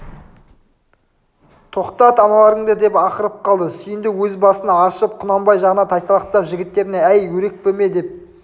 тоқтат аналарыңды деп ақырып қалды сүйіндік өз басын аршып құнанбай жағына тайсалақтап жігіттеріне әй өрекпіме демеп